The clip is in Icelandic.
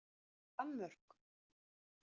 Danmörk